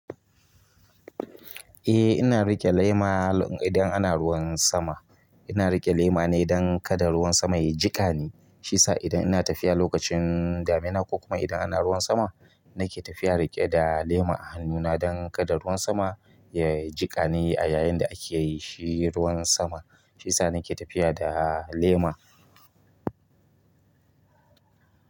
Eh ina riƙe lema idan ana ruwan sama. Ina riƙe lema ne dan kada ruwan sama ya jiƙa ni. Shi isa idan ina tafiya lokacin damina ko kuma idan ana ruwan sama, nake tafiya riƙe da lema a hannuna don kada ruwan sama ya jiƙa ni a yayin da ake yi shi ruwan sama. Shi sa nake tafiya da lema.